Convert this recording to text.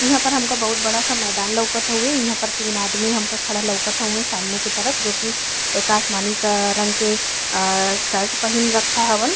इहा पर हमका बहुत बड़ा सा मैदान लउकत हउवे। इहा पर तीन आदमी हमका खड़ा लउकत हउवे सामने की तरफ जोकि एक आसमानी क रंग के अ शर्ट पहिन रखा हवन।